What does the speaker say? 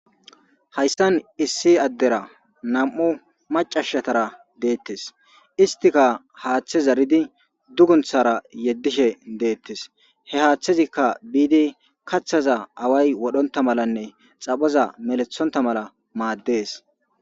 Hayssan issi addera nam7u macashatara deettes istika haaththe zaridi dugunthara yeddishe deettes he haaththezikka biidi kathaza away wodhonta malanne xaphaza melethonta mala maaddees.